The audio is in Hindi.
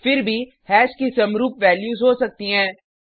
फिर भी हैश की समरुप वैल्यूज़ हो सकती हैं